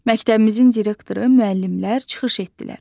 Məktəbimizin direktoru, müəllimlər çıxış etdilər.